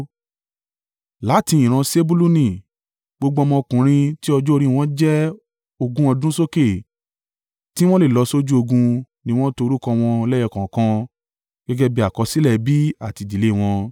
Láti ìran Sebuluni, gbogbo ọmọkùnrin tí ọjọ́ orí wọn jẹ́ ogún ọdún sókè tí wọ́n lè lọ sójú ogun ni wọ́n to orúkọ wọn lẹ́yọ kọ̀ọ̀kan gẹ́gẹ́ bí àkọsílẹ̀ ẹbí àti ìdílé wọn.